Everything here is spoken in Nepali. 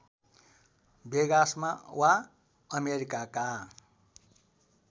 वेगासमा वा अमेरिकाका